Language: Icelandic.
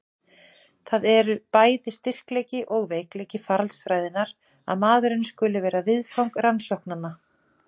Það er bæði styrkleiki og veikleiki faraldsfræðinnar að maðurinn skuli vera viðfang rannsóknanna.